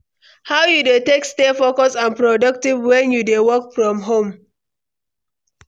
How you dey take stay focused and productive when you dey work from home?